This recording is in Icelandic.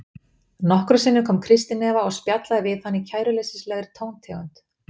Nokkrum sinnum kom Kristín Eva og spjallaði við hann í kæruleysislegri tóntegund.